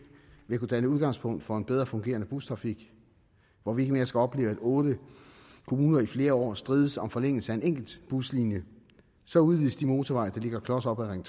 vil kunne danne udgangspunkt for en bedre fungerende bustrafik hvor vi ikke mere skal opleve at otte kommuner i flere år strides om forlængelse af en enkelt buslinje så udvides de motorveje der ligger klos op ad ring